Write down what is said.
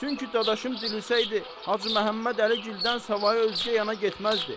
Çünki dadaşım dirilsəydi, Hacı Məhəmməd Əligildən savayı özgə yana getməzdi.